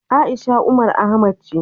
A'isha Umar Ahmad ce.